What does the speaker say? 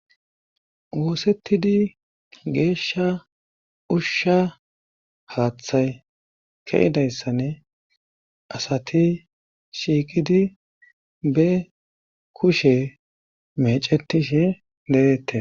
oosettidi geeshsha ushsha haaththay keyidayssane asati shiiqidi be kushe mecetishe de'ettes